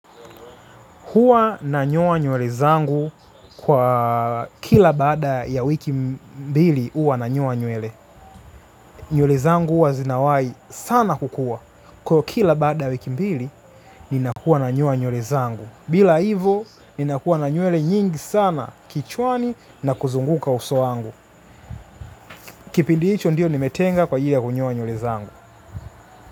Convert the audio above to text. Hua nanyowa nywele zangu kwa kila baada ya wiki mbili uwa nanyowa nywele. Nywele zangu uwa zinawai sana kukua. Kwa ivo kila baada ya wiki mbili, nina huwa nanyoa nywele zangu. Bila hivo, ninakuwa na nyewele nyingi sana kichwani na kuzunguka uso wangu. Kipindi hicho ndio nimetenga kwa ili ya kunyoa nywele zangu.